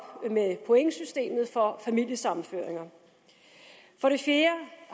med pointsystemet for familiesammenføring for det fjerde